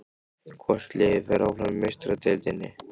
Hvort liðið fer áfram í Meistaradeildinni?